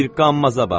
Bir qammaza bax.